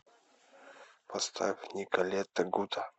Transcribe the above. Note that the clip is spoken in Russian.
поставь николета гута